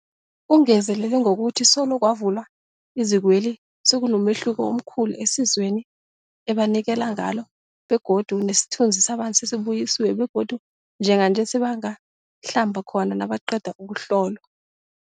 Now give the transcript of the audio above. Ungezelele ngokuthi solo kwavulwa izikweli, sekunomehluko omkhulu esizweni ebanikelana ngalo begodu nesithunzi sabantu sesibuyisiwe begodu njenganje sebangahlamba khona nabaqeda ukuhlolwa.